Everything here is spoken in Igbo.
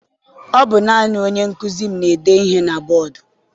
Ọ bụ naanị onye nkụzi m na-ede ihe na bọdu.